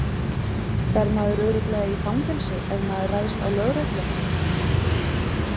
Fer maður örugglega í fangelsi ef maður ræðst á lögreglumann?